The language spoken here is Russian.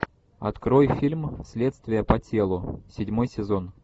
открой фильм следствие по телу седьмой сезон